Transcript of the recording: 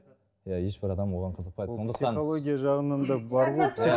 иә ешбір адам оған қызықпайды сондықтан психология жағынан да бар ғой